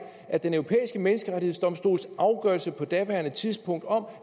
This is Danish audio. at den europæiske menneskerettighedsdomstols afgørelse på daværende tidspunkt om